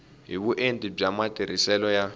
hi vuenti bya matirhiselo ya